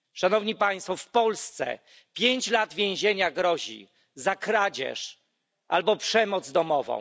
W Polsce pięć lat więzienia grozi za kradzież albo przemoc domową.